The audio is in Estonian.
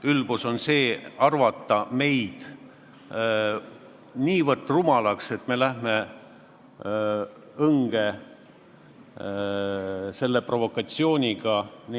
Ülbus on see, kui meid peetakse nii rumalaks, et me läheme sellise provokatsiooni peale õnge.